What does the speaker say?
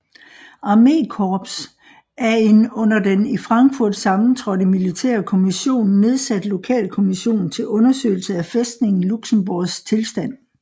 Armékorps af en under den i Frankfurt sammentrådte militære kommission nedsat lokalkommission til undersøgelse af fæstningen Luxembourgs tilstand